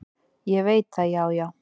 """Ég veit það, já, já."""